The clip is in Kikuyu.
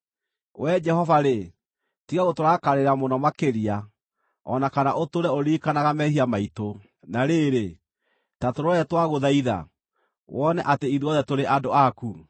Wee Jehova-rĩ, tiga gũtũrakarĩra mũno makĩria, o na kana ũtũũre ũririkanaga mehia maitũ. Na rĩrĩ, ta tũrore twagũthaitha, wone atĩ ithuothe tũrĩ andũ aku.